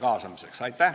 Aitäh!